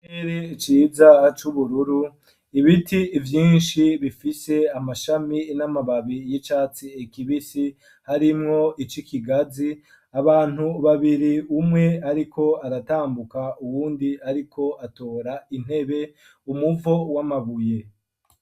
Ere iciza aco ubururu ibiti ivyinshi bifise amashami n'amababi y'icatsi ekibisi harimwo ico ikigazi abantu babiri umwe, ariko aratambuka uwundi, ariko atora intebe umuvo w'amabuye.